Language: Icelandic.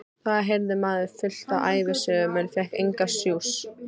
Þá heyrði maður fullt af ævisögum en fékk engan sjúss.